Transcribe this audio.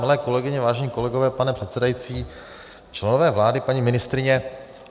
Milé kolegyně, vážení kolegové, pane předsedající, členové vlády, paní ministryně.